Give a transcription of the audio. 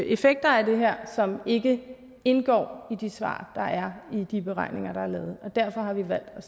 effekter af det her som ikke indgår i de svar der er i de beregninger der er lavet og derfor har vi valgt